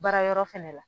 Baara yɔrɔ fɛnɛ la